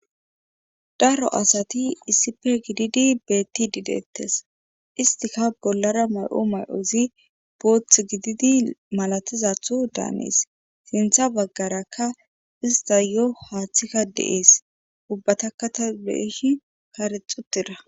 Daro asati issife gididi beetti didettes istika bollara may7o may7ozi booth gididi malatizatho daanees sintha baggarakka ista yo haaththikka deees ubbataka ta beeh karexuttira